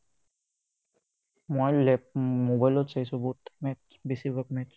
মই লেপ মোবাইলত চাইচো বহুত match বেছিভাগ match